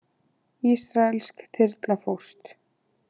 Ísraelsk þyrla fórst